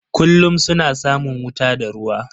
Kullum suna samun wuta da ruwa.